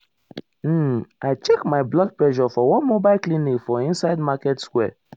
um i check my blood pressure for one mobile clinic for inside market square.